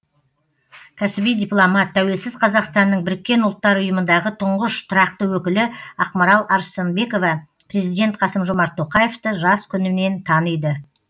кәсіби дипломат тәуелсіз қазақстанның біріккен ұлттар ұйымындағы тұңғыш тұрақты өкілі ақмарал арыстанбекова президент қасым жомарт тоқаевты жас күнінен таниды